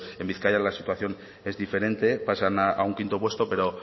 en bizkaia la situación es diferente pasan a un quinto puesto pero